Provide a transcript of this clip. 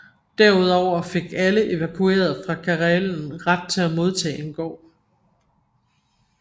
Der ud over fik alle evakuerede fra Karelen ret til at modtage en gård